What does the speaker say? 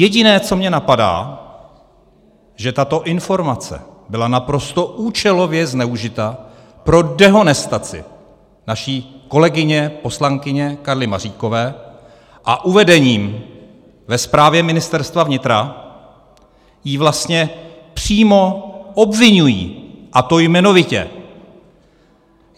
Jediné, co mě napadá, že tato informace byla naprosto účelově zneužita pro dehonestaci naší kolegyně, poslankyně Karly Maříkové, a uvedením ve zprávě Ministerstva vnitra ji vlastně přímo obviňují, a to jmenovitě.